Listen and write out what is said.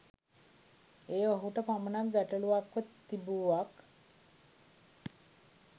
එය ඔහුට පමණක් ගැටලූවක්ව තිබූවක්